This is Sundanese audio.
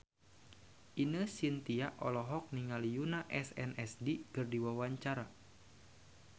Ine Shintya olohok ningali Yoona SNSD keur diwawancara